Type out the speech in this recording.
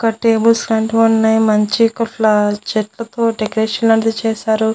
ఒక table stand ఉన్నాయి మంచిగా ఫ్లవర్స్ చెట్లతో డెకరేషన్ లాంటిది చేశారు.